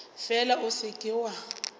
fela o se ke wa